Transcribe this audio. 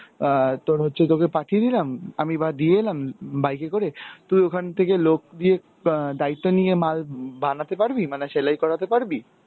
অ্যাঁ তোর হচ্ছে তোকে পাঠিয়ে দিলাম, আমি বা দিয়ে এলাম bike এ করে, তুই ওখান থেকে লোক দিয়ে অ্যাঁ দায়িত্ব নিয়ে মাল বানাতে পারবি? মানে সেলাই করাতে পারবি?